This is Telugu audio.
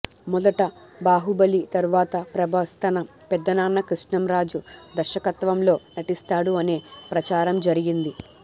మొదట బాహుబలి తర్వాత ప్రభాస్ తన పెద్దనాన్న కృష్ణంరాజు దర్శకత్వంలో నటిస్తాడు అనే ప్రచారం జరిగింది